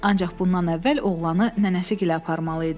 Ancaq bundan əvvəl oğlanı nənəsi gilə aparmalı idi.